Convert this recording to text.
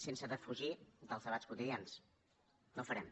sense defugir els debats quotidians no ho farem